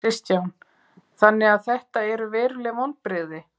Kristján: Þannig að þetta eru veruleg vonbrigði?